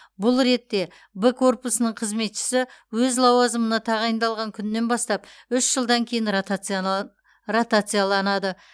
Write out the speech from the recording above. бұл ретте б корпусының қызметшісі өз лауазымына тағайындалған күнінен бастап үш жылдан кейін ротацияланады